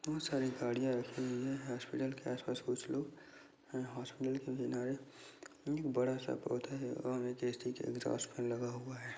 बहुत सारी गाड़ियां रखी हुई है हॉस्पिटल के आस पास कुछ लोग हॉस्पिटल के किनारे बड़ा सा पौधा है और एग्जॉस्ट फैन लगा हुआ है।